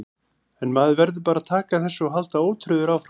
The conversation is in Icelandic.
En maður verður bara að taka þessu og halda ótrauður áfram.